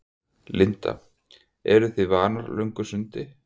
Linda: Eru þið vanar löngu sundi?